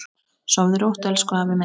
Sofðu rótt, elsku afi minn.